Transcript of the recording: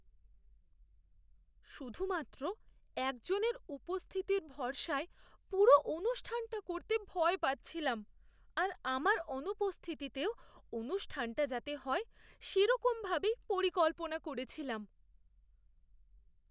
শুধুমাত্র একজনের উপস্থিতির ভরসায় পুরো অনুষ্ঠানটা করতে ভয় পাচ্ছিলাম আর আমার অনুপস্থিতিতেও অনুষ্ঠানটা যাতে হয় সেরকমভাবেই পরিকল্পনা করেছিলাম।